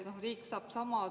Aitäh, hea istungi juhataja!